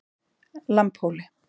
Lambhóli